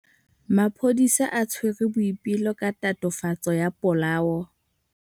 Maphodisa a tshwere Boipelo ka tatofatsô ya polaô.